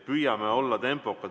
Püüame olla tempokad!